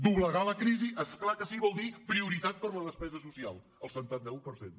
doblegar la crisi és clar que sí vol dir prioritat per a la despesa social el setanta un per cent